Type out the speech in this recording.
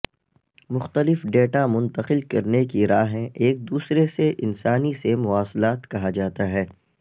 مختلف ڈیٹا منتقل کرنے کی راہیں ایک دوسرے سے انسانی سے مواصلات کہا جاتا ہے